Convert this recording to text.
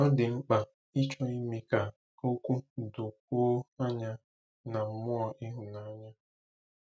Ọ dị mkpa ịchọ ime ka okwu dokwuo anya na mmụọ ịhụnanya.